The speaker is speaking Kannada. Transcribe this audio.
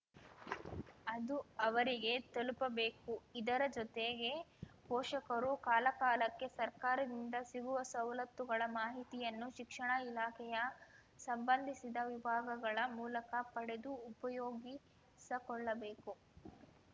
ಅದು ಅವರಿಗೆ ತಲುಪಬೇಕು ಇದರ ಜೊತೆಗೆ ಪೋಷಕರು ಕಾಲಕಾಲಕ್ಕೆ ಸರ್ಕಾರದಿಂದ ಸಿಗುವ ಸವಲತ್ತುಗಳ ಮಾಹಿತಿಯನ್ನು ಶಿಕ್ಷಣ ಇಲಾಖೆಯ ಸಂಬಂಧಿಸಿದ ವಿಭಾಗಗಳ ಮೂಲಕ ಪಡೆದು ಉಪಯೋಗಿಸಕೊಳ್ಳಬೇಕು